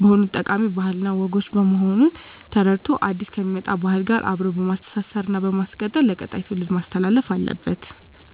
በሆኑት ጠቃሚ ባህል እና ወጎች በመሆኑን ተረድቶ አዲስ ከሚመጣ ባህል ጋር አብሮ በማስተሳሰር እና በማስቀጠል ለቀጣይ ትውልድ ማስተላለፍ አለበት።